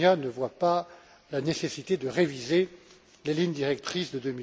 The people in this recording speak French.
Almunia ne voit pas la nécessité de réviser les lignes directrices de